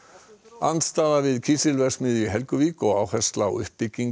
andstaða við kísilverksmiðju í Helguvík og áhersla á uppbyggingu